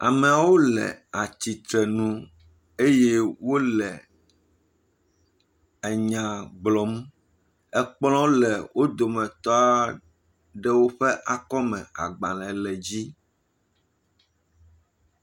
Amewo le atsitre nu eye wole nya gblɔm. Kplɔ̃ le wo dometɔ aɖewo ƒe akɔme, agbalẽ le edzi.